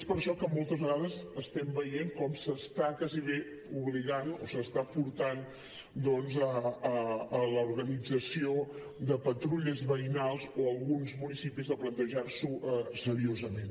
és per això que moltes vegades estem veient com s’està gairebé obligant o s’està portant a l’organització de patrulles veïnals o alguns municipis a plantejar s’ho seriosament